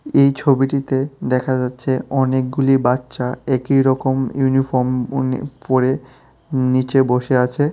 এই ছবিটিতে দেখা যাচ্ছে অনেকগুলি বাচ্চা একই রকম ইউনিফর্ম বোনে পরে নীচে বসে আছে।